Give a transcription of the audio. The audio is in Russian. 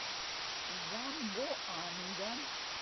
замбоанга